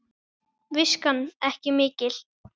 Viskan ekki mikil!